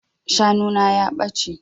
Shanu na ya ɓace.